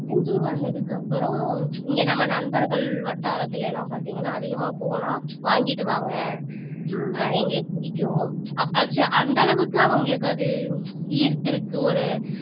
கோயம்முத்தூர் வந்ததுக்கு அப்புறம் இங்க நம்ம நண்பர்கள் வட்டாரத்துல எல்லாம் பாத்தீங்கன்னா அதிகமா போனா வாங்கிட்டு வாங்க ஆஹ் எங்களுக்கு பிடிக்கும் அப்ப ஆச்சு அந்த அளவுக்கு அவங்களுக்கு அது ஈர்த்து இருக்கு ஒரு